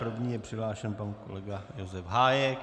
První je přihlášen pan kolega Josef Hájek.